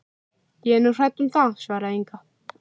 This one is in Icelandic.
Ég er nú hrædd um það, svaraði Inga.